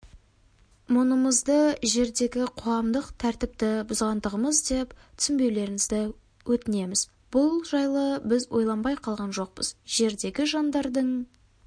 мұнымызды жердегі қоғамдық тәртіпті бұзғандығымыз деп түсінбеулеріңізді өтінеміз бұл жайды біз ойланбай қалған жоқпыз жердегі жандардың